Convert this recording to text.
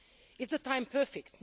Is the time perfect?